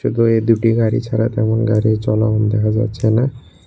ইগোয়ে দুটি গাড়ি ছাড়া তেমন গাড়ি চলং দেখা যাচ্ছে না।